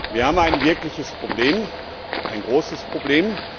Wir haben ein wirkliches Problem, ein großes Problem.